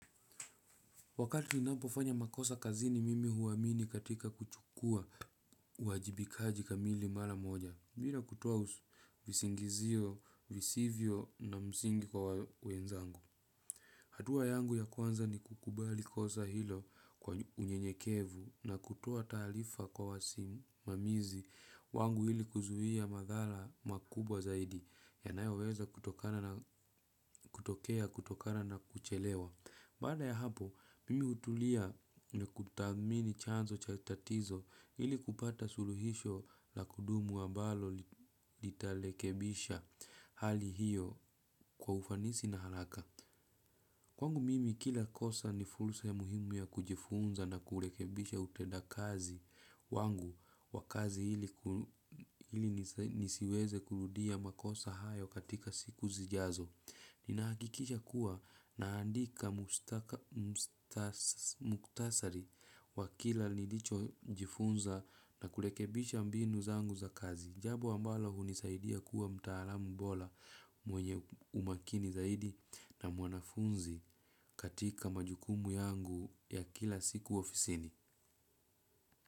Wakati napofanya makosa kazini mimi huwamini katika kuchukua wajibikaji kamili, mala moja. Mbira kutoa visingizio, visivyo na msingi kwa wenzangu. Hatua yangu ya kwanza ni kukubali kosa hilo, kwa unyenyekevu na kutoa taalifa kwa wasim mamizi wangu ili kuzuia madhara makubwa zaidi. Yanayo weza kutokana na kutokea, kutokana na kuchelewa. Baada ya hapo, mimi hutulia na kutamini chanzo cha tatizo ili kupata suluhisho na kudumu wa balo litalekebisha hali hiyo kwa ufanisi na haraka. Kwangu mimi, kila kosa ni fulsa ya muhimu ya kujifunza na kur iliekebisha uteda kazi wangu, wa kazi ili ili nisiweze kurudia makosa hayo katika siku zijazo. Ninaakikisha kuwa, naandika muktasari, wa kila lilicho, jifunza na kulekebisha mbinu zangu za kazi. Jambo ambalo hunisaidia kuwa mtaalamu bola, mwenye umakini zaidi na mwanafunzi, katika majukumu yangu, ya kila siku ofisini.